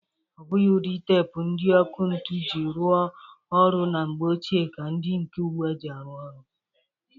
Ọ bụghị ụdị teepu ndị ọkụ ntụ ji rụọ ọrụ na mgbe ochie ka ndị nke ugbua ji arụ ọrụ.